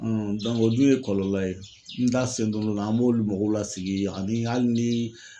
o dun ye kɔlɔlɔ ye n da sen te n'o la an b'olu mɔgɔw lasigi ani ni hali ni